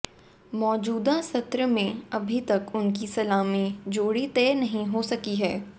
मौजूदा सत्र में अभी तक उनकी सलामी जोड़ी तय नहीं हो सकी है